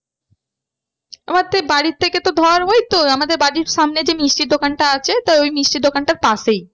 আমার তো ওই বাড়ি থেকে তো ধর ওই তো আমাদের বাড়ির সামনে যে মিষ্টির দোকানটা আছে তা ওই মিষ্টির দোকানটার পাশেই